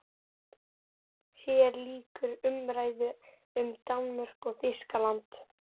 HÉR LÝKUR UMRÆÐU UM DANMÖRKU OG ÞÝSKALAND